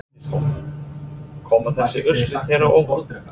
Bryndís Hólm: Koma þessi úrslit þér á óvart?